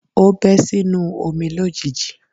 O bẹ́ sínú omi lójijì.